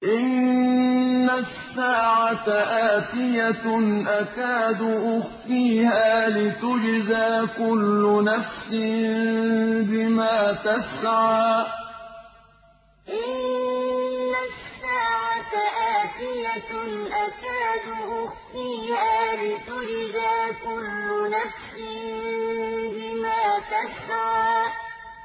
إِنَّ السَّاعَةَ آتِيَةٌ أَكَادُ أُخْفِيهَا لِتُجْزَىٰ كُلُّ نَفْسٍ بِمَا تَسْعَىٰ إِنَّ السَّاعَةَ آتِيَةٌ أَكَادُ أُخْفِيهَا لِتُجْزَىٰ كُلُّ نَفْسٍ بِمَا تَسْعَىٰ